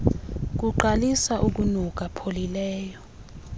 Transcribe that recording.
kuqalisa ukunuka pholileleyo